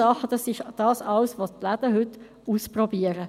Dies alles probieren die Läden heute aus.